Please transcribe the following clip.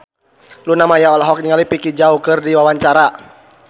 Luna Maya olohok ningali Vicki Zao keur diwawancara